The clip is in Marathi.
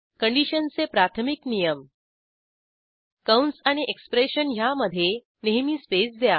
कंडिशनचे प्राथमिक नियम कंस आणि एक्सप्रेशन ह्यामधे नेहमी स्पेस द्या